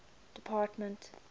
department